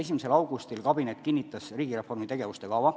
1. augustil kabinet kinnitas riigireformi tegevuste kava.